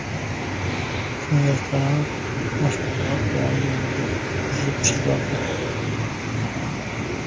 Shunga qarab mashg‘ulot davomiyligi tuzib chiqiladi.